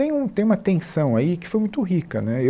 Tem um tem uma tensão aí que foi muito rica né.